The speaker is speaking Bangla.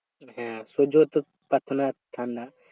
হ্যাঁ সহ্য করতে পারত না ঠান্ডা